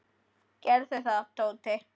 Gerðu það, Tóti!